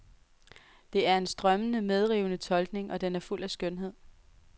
Det er en strømmende, medrivende tolkning, og den er fuld af skønhed.